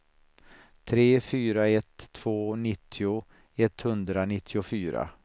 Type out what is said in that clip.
tre fyra ett två nittio etthundranittiofyra